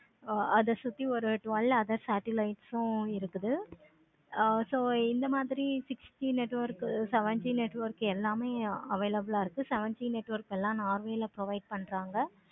இப்போ அத சுத்தி ஒரு ten satellite phone இருக்குது. so இந்த மாதிரி sixty network seventy network எல்லாமே available ஆஹ் இருக்கு. seventy network எல்லாமே provide பன்றாங்க.